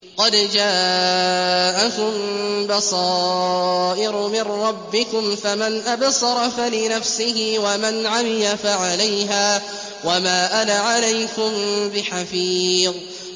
قَدْ جَاءَكُم بَصَائِرُ مِن رَّبِّكُمْ ۖ فَمَنْ أَبْصَرَ فَلِنَفْسِهِ ۖ وَمَنْ عَمِيَ فَعَلَيْهَا ۚ وَمَا أَنَا عَلَيْكُم بِحَفِيظٍ